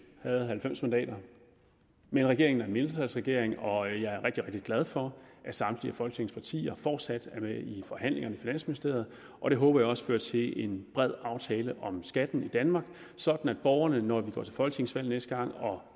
havde halvfems mandater men regeringen er en mindretalsregering og jeg er rigtig rigtig glad for at samtlige folketingets partier fortsat er med i forhandlingerne i finansministeriet og det håber jeg også fører til en bred aftale om skatten i danmark sådan at borgerne når vi går til folketingsvalg næste gang og